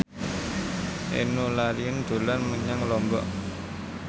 Enno Lerian dolan menyang Lombok